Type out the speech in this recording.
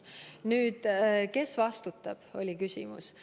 Nüüd, kes vastutab, oli küsimus.